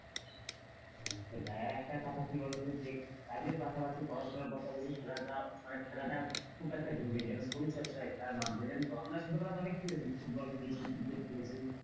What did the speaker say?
আরেকটা কথা কি বলতো যে কাজের পাশাপাশি পড়াশোনা পাশাপাশি খেলাটা মানে খেলাটা খুব একটা জরুরী যেন শরীর চর্চার হয় খেলার মাধ্যমে জানতো আমরা ছোটবেলাতে অনেক খেলেছি ফুটবল খেলেছি ক্রিকেট খেলেছি,